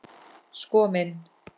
Sko minn.